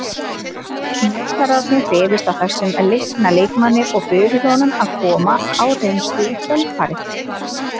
Njósnararnir hrifust af þessum leikna leikmanni og buðu honum að koma á reynslu í kjölfarið.